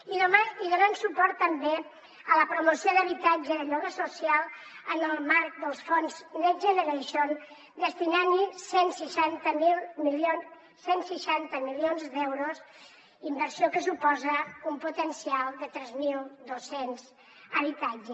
i donem suport també a la promoció d’habitatge de lloguer social en el marc dels fons next generation destinant hi cent i seixanta milions d’euros inversió que suposa un potencial de tres mil dos cents habitatges